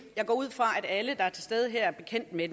jeg går ud fra at alle der er til stede her er bekendt med